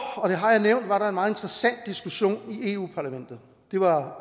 og det har jeg nævnt var der en meget interessant diskussion i europa parlamentet det var